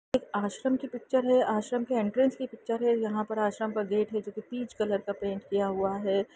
एक आश्रम की पिक्चर है आश्रम के एंट्रेंस की पिक्चर है यहाँ पे आश्रम का गेट है जोकि पीच कलर का पेंट किया हुआ है।